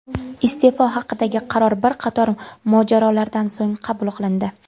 Iste’fo haqidagi qaror bir qator mojarolardan so‘ng qabul qilindi.